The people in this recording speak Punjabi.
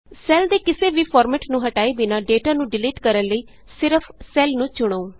ਸੈੱਲ ਦੇ ਕਿਸੀ ਵੀ ਫਾਰਮੈੱਟ ਨੂੰ ਹਟਾਏ ਬਿਨਾਂ ਡੇਟਾ ਨੂੰ ਡਿਲੀਟ ਕਰਣ ਲਈ ਸਿਰਫ ਸੈੱਲ ਨੂੰ ਚੁਣੋ